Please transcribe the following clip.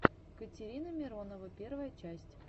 катерина миронова первая часть